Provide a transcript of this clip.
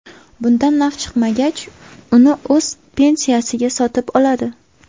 Bundan naf chiqmagach, uni o‘z pensiyasiga sotib oladi.